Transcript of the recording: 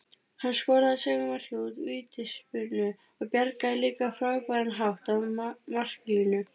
Hann skoraði sigurmarkið úr vítaspyrnu og bjargaði líka á frábæran hátt af marklínu.